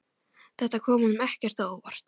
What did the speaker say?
Þetta kom honum ekkert á óvart.